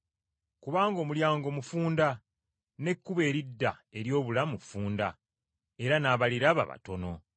Kubanga omulyango mufunda, n’ekkubo eridda eri obulamu ffunda, era n’abaliraba batono.”